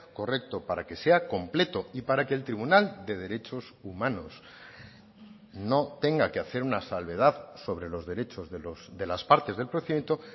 correcto para que sea completo y para que el tribunal de derechos humanos no tenga que hacer una salvedad sobre los derechos de las partes del procedimiento